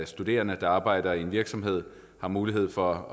studerende der arbejder i en virksomhed har mulighed for